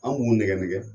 An b'u nɛgɛ nɛgɛ